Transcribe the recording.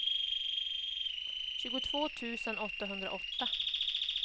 tjugotvå tusen åttahundraåtta